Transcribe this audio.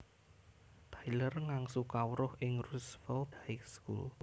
Tyler ngangsu kawruh ing Roosevelt High School